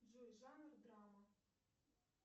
джой жанр драма